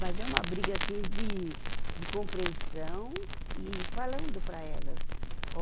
Mas é uma briga, assim, de, de compreensão e falando para elas.